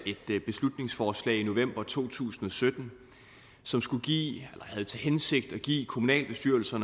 et beslutningsforslag i november to tusind og sytten som skulle give eller havde til hensigt at give kommunalbestyrelser